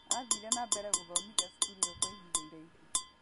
Athire na mbere gũthomithia cukuru ĩyo kwa ihinda iraihu.